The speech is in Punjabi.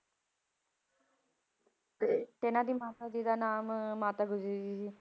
ਤੇ ਇਹਨਾਂ ਦੀ ਮਾਤਾ ਜੀ ਦਾ ਨਾਮ ਮਾਤਾ ਗੁਜਰੀ ਜੀ।